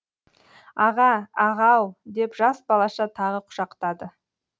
аға аға ау деп жас балаша тағы құшақтады